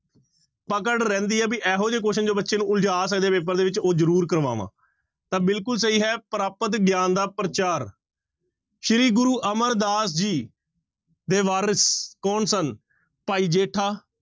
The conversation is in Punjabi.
ਪਕੜ ਰਹਿੰਦੀ ਹੈ ਵੀ ਇਹੋ ਜਿਹੇ question ਜੋ ਬੱਚੇ ਨੂੰ ਉਲਝਾ ਸਕਦੇ ਆ ਪੇਪਰ ਦੇ ਵਿੱਚ ਉਹ ਜ਼ਰੂਰ ਕਰਵਾਵਾਂ, ਤਾਂ ਬਿਲਕੁਲ ਸਹੀ ਹੈ ਪ੍ਰਾਪਤ ਗਿਆਨ ਦਾ ਪ੍ਰਚਾਰ ਸ੍ਰੀ ਗੁਰੂ ਅਮਰਦਾਸ ਜੀ ਦੇ ਵਾਰਿਸ਼ ਕੌਣ ਸਨ? ਭਾਈ ਜੇਠਾ,